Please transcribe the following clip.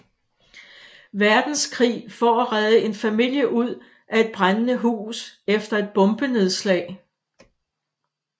Verdenskrig for at redde en familie ud af et brændende hus efter et bombenedslag